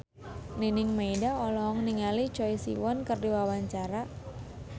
Nining Meida olohok ningali Choi Siwon keur diwawancara